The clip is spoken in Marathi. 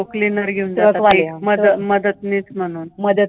हो हो हो हो. truck वाले मदतनीस म्हणून.